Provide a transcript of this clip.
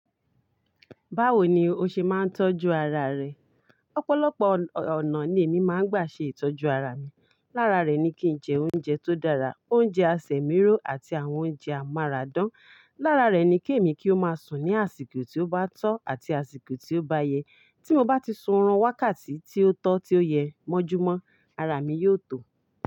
Báwo ni o ṣe máa ń tọ́jú ara rẹ? Ọ̀pọ̀lọpọ̀ ọ̀nà ni èmi máa ń gbà ṣe ìtọ́jú ara mi. Lára rẹ̀ ni kí n jẹ oúnjẹ tó dára, oúnjẹ àsẹ mìro àti àwọn oúnjẹ amáràdán. Lára rẹ̀ ni kí èmi kí ó máa sùn ní àsìkò tí ó bá tọ́ àti àsìkò tí ó bá yẹ. Tí mo bá ti sun orun wákàtí tí ó tọ́, tí ó yẹ, mọ́júmọ́ ara mi yóò tó.